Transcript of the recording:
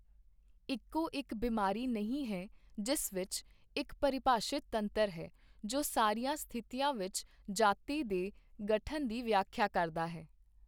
ਇੱਕੋ ਇੱਕ ਬਿਮਾਰੀ ਨਹੀਂ ਹੈ ਜਿਸ ਵਿੱਚ ਇੱਕ ਪਰਿਭਾਸ਼ਿਤ ਤੰਤਰ ਹੈ ਜੋ ਸਾਰੀਆਂ ਸਥਿਤੀਆਂ ਵਿੱਚ ਜਾਤੀ ਦੇ ਗਠਨ ਦੀ ਵਿਆਖਿਆ ਕਰਦਾ ਹੈ।